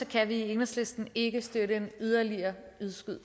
kan vi i enhedslisten ikke støtte en yderligere